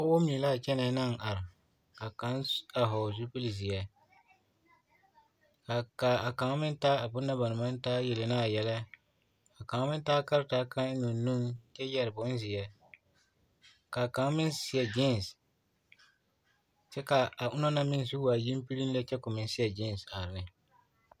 Pɔgebɔ mine l'a kyɛnɛ naŋ are ka kaŋ soba vɔgele zupili zeɛ ka a kaŋ meŋ taa a bone na ba naŋ maŋ de yele ne a yɛlɛ ka kaŋ meŋ taa karetaa kaŋ eŋ o nuŋ kyɛ yɛre bonzeɛ k'a kaŋ meŋ seɛ giinsi kyɛ k'a ona meŋ zu waa yempirim lɛ kyɛ k'o meŋ seɛ giinsi are ne.